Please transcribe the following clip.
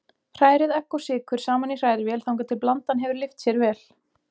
Hrærið egg og sykur saman í hrærivél þangað til blandan hefur lyft sér vel.